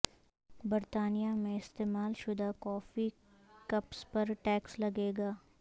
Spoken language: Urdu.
برطانیہ میں استعمال شدہ کافی کپس پر ٹیکس لگے گا